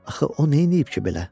Axı o neyləyib ki belə?